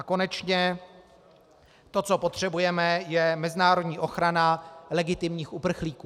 A konečně to, co potřebujeme, je mezinárodní ochrana legitimních uprchlíků.